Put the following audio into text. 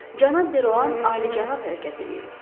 Cənab Deroan alicənab hərəkət eləyib.